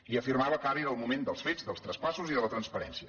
i afirmava que ara era el moment dels fets dels traspassos i de la transparència